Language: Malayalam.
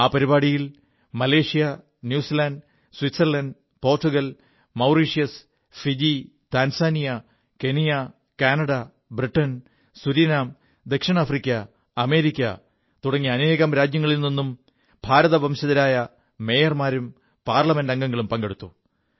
ആ പരിപാടിയിൽ Malaysia New Zealand Switzerland Portugal Mauritius Fiji Tanzania Kenya Canada ബ്രിൻ സുരിനാം ദക്ഷിണാഫ്രിക്ക അമേരിക്ക തുടങ്ങി അനേകം രാജ്യങ്ങളിൽ നിും ഭാരതവംശജരായ മേയർമാരും പാർലമെന്റ് അംഗങ്ങളും പങ്കെടുത്തു